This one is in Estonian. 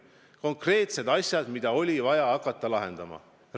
Konkreetsed asjad, mida oli vaja hakata lahendama!